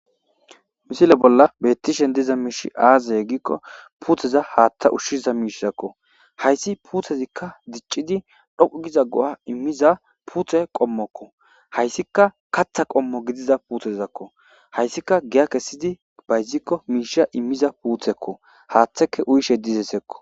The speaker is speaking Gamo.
Misile bolla betishe diza mishiy aze gikko putteza haththa ushiza mishako haysi puttezi dicidi dhoqu giza go'a imiza putte qommoko haysika kaththa qommo gidiza puttezako haysika giya kesidi bayiziko misha imiza putteko haththaka uyishe dizaysako